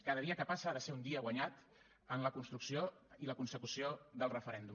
cada dia que passa ha de ser un dia guanyat en la construcció i la consecució del referèndum